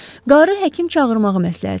Qarı həkim çağırmağı məsləhət gördü.